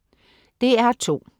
DR2: